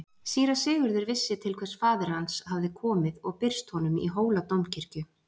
Síra Sigurður vissi til hvers faðir hans hafði komið og birst honum í Hóladómkirkju.